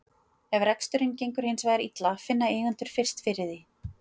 Ef reksturinn gengur hins vegar illa finna eigendur fyrst fyrir því.